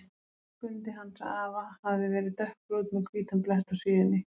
Skundi hans afa hafði verið dökkbrúnn með hvítan blett á síðunni.